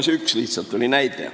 See oli lihtsalt üks näide.